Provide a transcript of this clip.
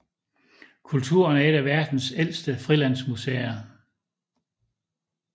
Kulturen er et af verdens ældste frilandsmuseer